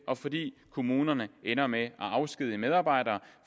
og fordi kommunerne ender med at afskedige medarbejdere